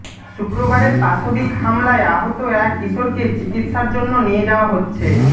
শুক্রবারের পাশবিক হামলায় আহত এক কিশোরকে চিকিৎসার জন্য নিয়ে যাওয়া হচ্ছে